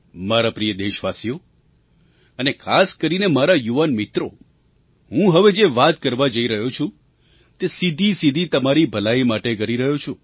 મારા પ્રિય દેશવાસીઓ અને ખાસ કરીને મારા યુવાન મિત્રો હું હવે જે વાત કરવા જઈ રહ્યો છું તે સીધીસીધી તમારી ભલાઈ માટે કરી રહ્યો છું